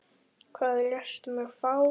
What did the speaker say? Hvað lést þú mig fá?